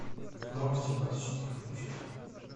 новости двадцать четыре включить